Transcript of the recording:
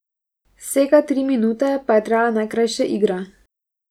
Vsega tri minute pa je trajala najkrajša igra.